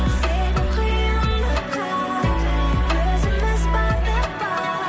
себеп қиындыққа өзіміз бардық па